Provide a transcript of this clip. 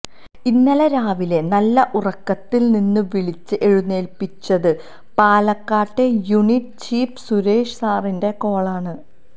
ഇന്നലെ രാവിലെ നല്ല ഉറക്കത്തില് നിന്ന് വിളിച്ച് എഴുന്നേല്പ്പിച്ചത് പാലക്കാട്ടെ യൂണിറ്റ് ചീഫ് സുരേഷ് സാറിന്റെ കോളാണ്